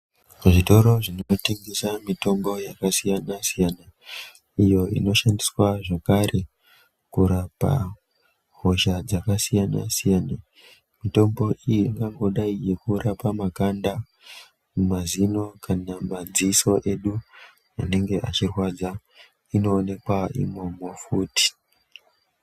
Zvikoro zvinotengesa mitombo yakasiyana-siyana, iyo inoshandiswa zvakare, kurapa hosha dzakasiyana-siyana. Mitombo iyi ingangodai yeingorapa makanda, mazino kana madziso edu anenge achirwadza, inoonekwa imomo futi.